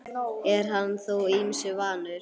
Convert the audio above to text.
Er hann þó ýmsu vanur.